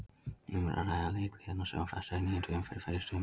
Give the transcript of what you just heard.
Um er að ræða leik liðanna sem var frestað í níundu umferð fyrr í sumar.